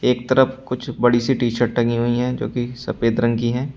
एक तरफ कुछ बड़ी सी टी शर्ट टंगी हुई हैं जो कि सफेद रंग की हैं।